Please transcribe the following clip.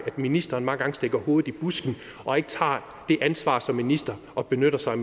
ministeren mange gange stikker hovedet i busken og ikke tager det ansvar som minister og benytter sig